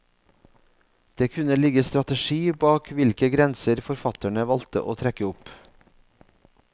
Det kunne ligge strategi bak hvilke grenser forfatterne valgte å trekke opp.